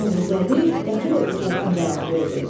Novruzəli dəxi də ucadan cavab verdi.